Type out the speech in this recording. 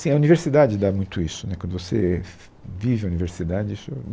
Assim, a universidade dá muito isso, né, quando você fe, vive a universidade, isso